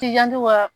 K'i janto ka